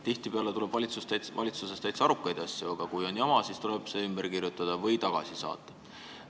Tihtipeale tuleb valitsusest täitsa arukaid asju, aga kui on jama, siis tuleb see ümber kirjutada või tagasi saata.